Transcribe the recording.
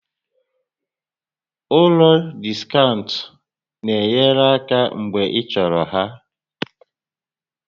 Ụlọ diskaụnt na-enye aka mgbe ịchọrọ ha